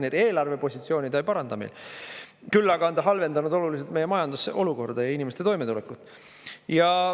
Nii et eelarvepositsiooni ta ei paranda meil, küll aga on ta halvendanud oluliselt meie majanduse olukorda ja inimeste toimetulekut.